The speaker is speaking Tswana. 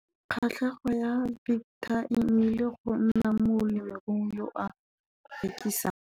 Kgatlhego ya Victor e nnile go nna molemirui yo a rekisang.